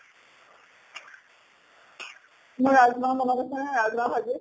মই ৰাজ্মা বনাই আছো হা, ৰাজ্মা ভাজি।